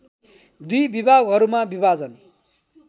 दुई विभागहरूमा विभाजन